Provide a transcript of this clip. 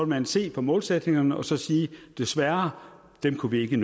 man se på målsætningerne og sige desværre dem kunne vi ikke